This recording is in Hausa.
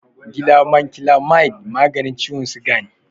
Glabanclamide maganin ciwon siga ne.